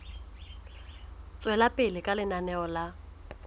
tswela pele ka lenaneo la